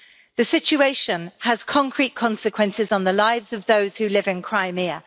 The situation has concrete consequences on the lives of those who live in Crimea.